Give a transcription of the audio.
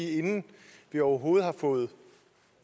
inden vi overhovedet har fået